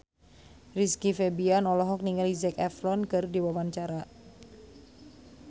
Rizky Febian olohok ningali Zac Efron keur diwawancara